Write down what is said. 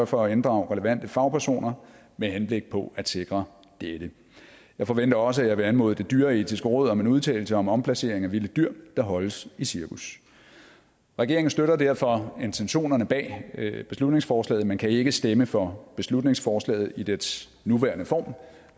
for at inddrage relevante fagpersoner med henblik på at sikre dette jeg forventer også at jeg vil anmode det dyreetiske råd om en udtalelse om omplacering af vilde dyr der holdes i cirkus regeringen støtter derfor intentionerne bag beslutningsforslaget men kan ikke stemme for beslutningsforslaget i dets nuværende form